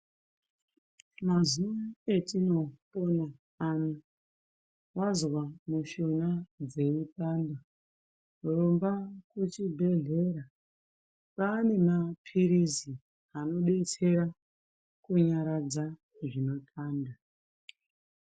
Mazuva atinopona ano wanzwa mishuna dzeipanda rumba kuchibhedhlera kwane mapirizi anodetsera kurapa zvinopanda.